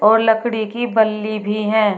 और लकड़ी की बल्ली भी है।